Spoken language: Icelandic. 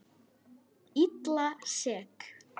Illa sek.